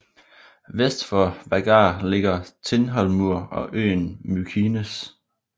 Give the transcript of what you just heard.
Vest for Vágar ligger Tindhólmur og øen Mykines